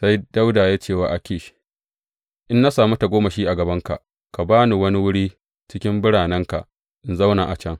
Sai Dawuda ya ce wa Akish, In na sami tagomashi a gabanka ka ba ni wani wuri a cikin biranenka in zauna a can.